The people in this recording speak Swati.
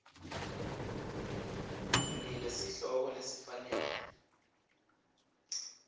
yinike sihloko lesifanele